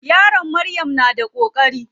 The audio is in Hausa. Yaron Maryam na da koƙari.